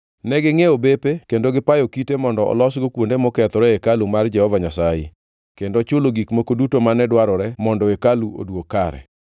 Negingʼiewo bepe kendo gipayo kite mondo olosgo kuonde mokethore e hekalu mar Jehova Nyasaye, kendo chulo gik moko duto mane dwarore mondo hekalu oduog kare.